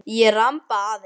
Að ég ramba aðeins.